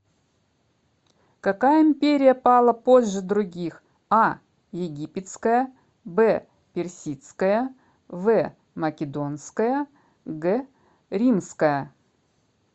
какая империя пала позже других а египетская б персидская в македонская г римская